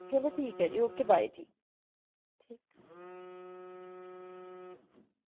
ਚਲੋ ਠੀਕ ਆ ਜੀ ਓਕੇ ਬਏ ਗ